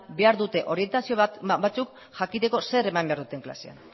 behar dute orientazio batzuk jakiteko zer eman behar duten klasean